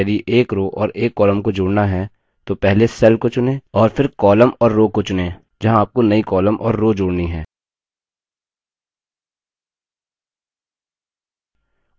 spreadsheet में यदि एक row और एक column को जोड़ना है तो पहले cell को चुनें और फिर column और row को चुनें जहाँ आपको नई column और row जोड़नी हैं